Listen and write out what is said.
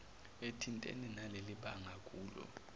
ethintene nalelibanga akulo